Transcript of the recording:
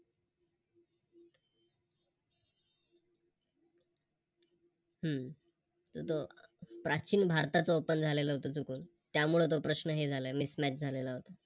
हम्म प्राचीन भारतात झालं होत चुकून त्यामुळे तो प्रश्न हे झाला आहे Mismatch झालेला होता